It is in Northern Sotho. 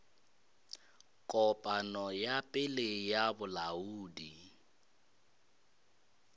kopano ya pele ya bolaodi